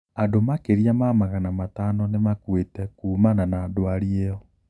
Andũ makiria ma magana matano nimakuite kuumana na dwari iyo.